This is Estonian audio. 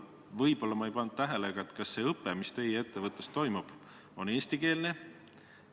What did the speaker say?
Võib-olla ma ei pannud tähele, aga kas see õpe, mis teie ettevõttes toimub, on eestikeelne?